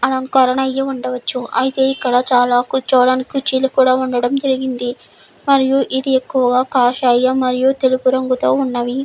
అలంకరణ అయ్యి ఉండవచ్చు. అయితే ఇక్కడ చాలా కూర్చోవడానికి కుర్చీలు కూడా ఉండడం జరిగింది మరియు ఇది ఎక్కువ కాషాయం మరియు తెలుపు రంగుతో ఉన్నవి.